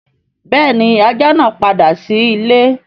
Béèni ajá naa pàdà sí ìlé.